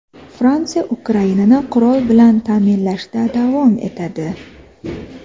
Fransiya Ukrainani qurol bilan ta’minlashda davom etadi.